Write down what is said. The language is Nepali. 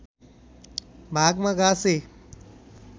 भागमा घाँसे